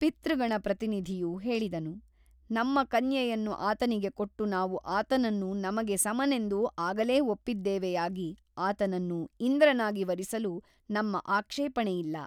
ಪಿತೃಗಣ ಪ್ರತಿನಿಧಿಯು ಹೇಳಿದನು ನಮ್ಮ ಕನ್ಯೆಯನ್ನು ಆತನಿಗೆ ಕೊಟ್ಟು ನಾವು ಆತನನ್ನು ನಮಗೆ ಸಮನೆಂದು ಆಗಲೇ ಒಪ್ಪಿದ್ದೇವೆಯಾಗಿ ಆತನನ್ನು ಇಂದ್ರನಾಗಿ ವರಿಸಲು ನಮ್ಮ ಆಕ್ಷೇಪಣೆಯಿಲ್ಲ.